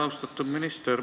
Austatud minister!